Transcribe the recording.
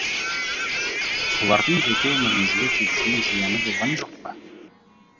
солардың жеке өміріңізге тигізген зияны болған жоқ па